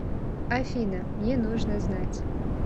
афина мне нужно знать